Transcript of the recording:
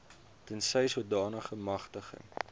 tensy sodanige magtiging